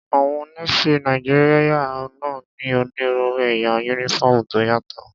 Àwọn Nééfì Nàìjíríyà náà ní onírúurú ẹ̀yà yúnífọ́ọ̀mù tó yàtọ̀